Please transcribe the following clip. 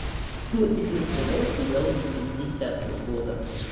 кто тебе сказал что я уже семидесятого года